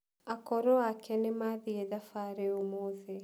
Akũrũ ake nĩmathiĩ thabarĩ ũmũthĩ.